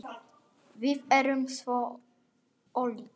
Við erum svo ólík.